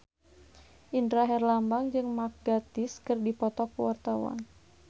Indra Herlambang jeung Mark Gatiss keur dipoto ku wartawan